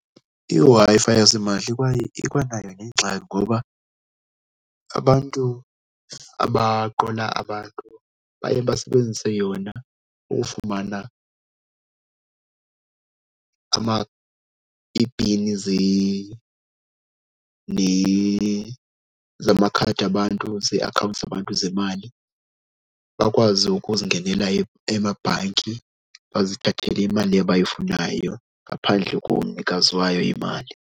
IWi-Fi yasimahla ikwanayo nengxaki ngoba abantu abaqola abantu baye basebenzise yona ukufumana ipini zamakhadi abantu zeakhawunti zabantu zemali, bakwazi ukuzingenela emabhanki, bazithathele imali abayifunayo ngaphandle komnikazi wayo imali.